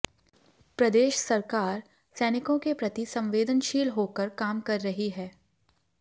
प्रदेश सरकार सैनिकों के प्रति संवेदनशील होकर काम कर रही है